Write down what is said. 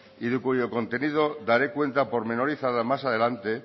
y de cuyo contenido daré cuenta pormenorizada más adelante